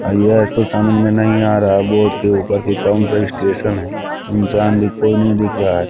यह एक तो समझ में नहीं आ रहा बोर्ड के ऊपर की कौन सा स्टेशन है इंसान भी कोई नहीं दिख रहा है।